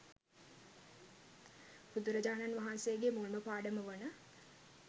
බුදුරජාණන් වහන්සේගේ මුල්ම පාඩම වන